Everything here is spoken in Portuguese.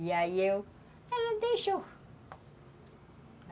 E aí, eu, ela deixou.